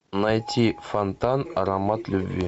найти фонтан аромат любви